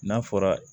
N'a fɔra